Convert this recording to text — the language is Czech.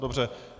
Dobře.